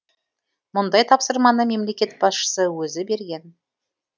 мұндай тапсырманы мемлекет басшысы өзі берген